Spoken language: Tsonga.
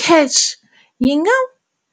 CACH yi nga